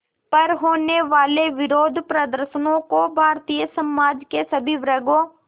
पर होने वाले विरोधप्रदर्शनों को भारतीय समाज के सभी वर्गों